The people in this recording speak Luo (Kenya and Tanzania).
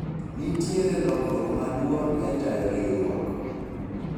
nitiere lokruok maduong' e tayo riwruok